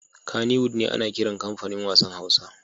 Kannywood ne ana kiran comfanin wassan Hausa.